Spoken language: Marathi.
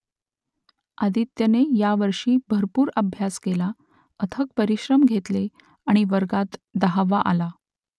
आदित्यने यावर्षी भरपूर अभ्यास केला अथक परिश्रम घेतले आणि वर्गात दहावा आला